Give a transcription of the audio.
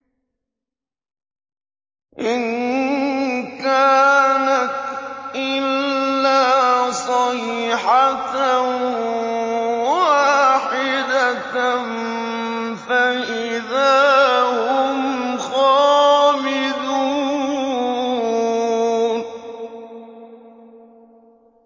إِن كَانَتْ إِلَّا صَيْحَةً وَاحِدَةً فَإِذَا هُمْ خَامِدُونَ